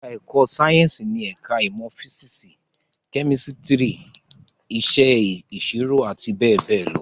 Ẹ̀ká ẹ̀kọ́ Sáyẹ̀nsì ni ẹ̀ká ìmọ̀ físísì, kẹ́mísítírì, Iṣẹ́ ìṣirò àti bẹ́ẹ̀ bẹ́ẹ̀ lọ